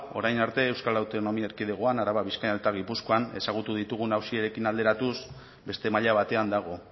orain arte euskal autonomia erkidegoan araba bizkaia eta gipuzkoan ezagutu ditugun auziekin alderatuz beste maila batean dago